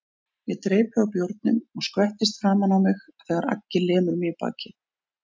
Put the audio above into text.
Ég dreypi á bjórnum og skvettist framan á mig þegar Aggi lemur mig í bakið.